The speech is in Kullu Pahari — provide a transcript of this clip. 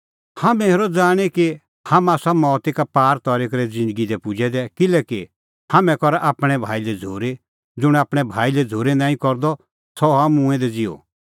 हाम्हैं हेरा जाणीं कि हाम्हां आसा मौता का पार तरी करै ज़िन्दगी दी पुजै दै किल्हैकि हाम्हैं करा आपणैं भाई लै झ़ूरी ज़ुंण आपणैं भाई लै झ़ूरी नांईं करदअ सह हआ मूंऐं दै ज़िहअ